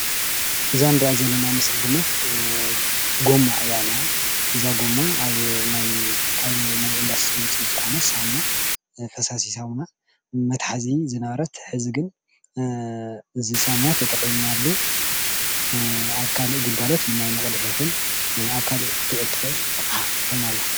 እዛ እንሪኣ ዘለና ምስሊ ድማ ጎማ እያ ኒሃ እዛ ጎማ ኣብ ናይ ካብ ናይ ኢንዳስትሪ ዉፅኢት ዝኾነ ሳሙና ፈሳሲ ሳሙና መትሓዚ ዝነበረት ሐዚ ግን እዚ ሳሙና ተጠቒምናሉ ኣብ ካሊእ ግልጋሎት ንማይ መቕድሒ ይኹን ኣብ ካሊእ ክትዉዕል ትኽእል ኮይና አላ።